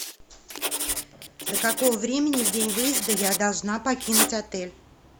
до какого времени в день выезда я должна покинуть отель